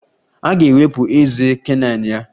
A ga-ewepụ ezé canine ya.